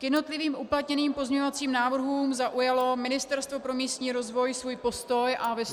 K jednotlivým uplatněným pozměňovacím návrhům zaujalo Ministerstvo pro místní rozvoj svůj postoj a vyslovilo -